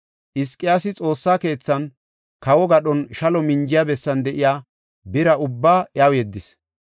Hizqiyaasi Xoossa keethan, kawo gadhon shalo minjiya bessan de7iya bira ubbaa iyaw yeddis.